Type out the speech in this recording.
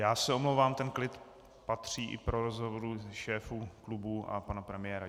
Já se omlouvám, ten klid patří i pro rozhovor šéfů klubů a pana premiéra.